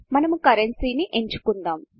మనము Currencyకరెన్సీ ని ఎంచుకుందాము